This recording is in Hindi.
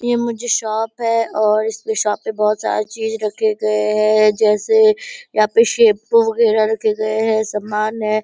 ये मुझे शॉप है और इसपे शॉप पे बहोत सारे चीज रखे गए है जैसे यहाँ पे शैम्पू वगैरा रखे गए है सामान है ।